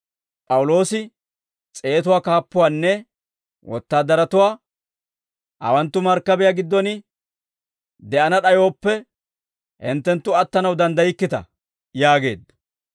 P'awuloosi s'eetatuwaa kaappuwaanne wotaadaratuwaa, «Hawanttu markkabiyaa giddon de'ana d'ayooppe, hinttenttu attanaw danddaykkita» yaageedda.